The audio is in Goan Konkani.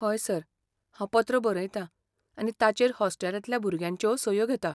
हय सर, हांव पत्र बरयतां आनी ताचेर हॉस्टेलांतल्या भुरग्यांच्यो सयो घेतां.